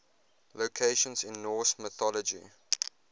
locations in norse mythology